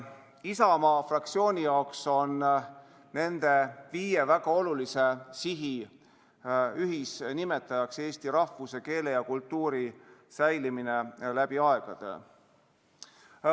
Isamaa fraktsiooni jaoks on nende viie väga olulise sihi ühisnimetaja eesti rahvuse, keele ja kultuuri säilimine läbi aegade.